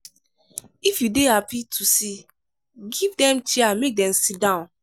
if you dey happy to see give dem chair make dem sidon `